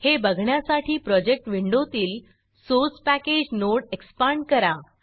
हे बघण्यासाठी प्रोजेक्ट विंडोतील source package source package node expand करा